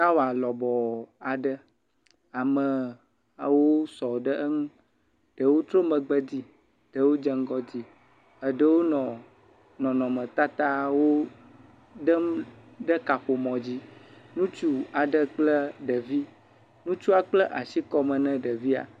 tawa lɔbɔɔ aɖe amee ewo sɔ ɖe eŋu ɖewo tro megbe di ɖewo dze ŋgɔ di eɖewo nɔ nɔnɔme tatawo ɖem ɖe kaƒomɔ dzi ŋutsu aɖe kple ɖevi ŋutsuɔ kpla asi kɔme ne ɖevia